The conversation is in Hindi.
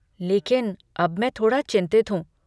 लेकिन अब मैं थोड़ा चिंतित हूँ।